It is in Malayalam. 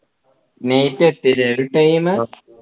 night അ എത്തിയത് time